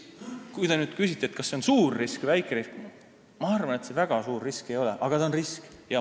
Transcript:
Kui te küsite nüüd, kas see on suur risk või väike risk, siis ma arvan, et see väga suur risk ei ole, aga ta on ikkagi risk.